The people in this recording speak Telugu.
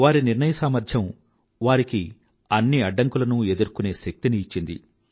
వారి నిర్ణయసామర్థ్యం వారికి అన్ని అడ్డంకులనూ ఎదుర్కొనే శక్తిని ఇచ్చింది